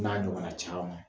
N'a ɲɔgɔnna caman